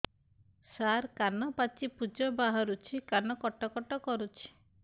ସାର କାନ ପାଚି ପୂଜ ବାହାରୁଛି କାନ କଟ କଟ କରୁଛି